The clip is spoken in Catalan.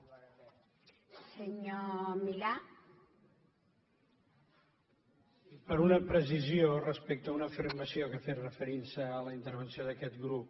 sí per una precisió respecte a una afirmació que ha fet referint se a la intervenció d’aquest grup